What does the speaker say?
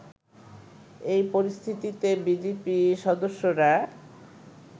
এই পরিস্থিতিতে বিজিবি সদস্যরা